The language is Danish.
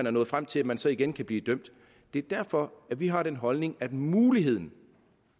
at nå frem til at man så igen kan blive dømt det er derfor vi har den holdning at muligheden